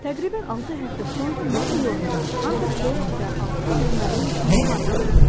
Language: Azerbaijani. Təqribən altı həftə sonra mən Nyu-Yorkda Hunter College-də 600 müəllim üçün mühazirə oxuyurdum.